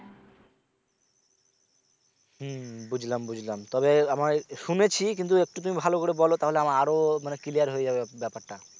হম বুঝলাম বুঝলাম তবে আমার শুনেছি কিন্তু একটু তুমি ভালো করে বলো তো তাহলে আমার আরো clear হয়ে যাবে ব্যাপার টা